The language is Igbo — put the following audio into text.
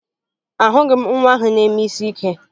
Ahụghị m nwa ahụ na-eme isi ike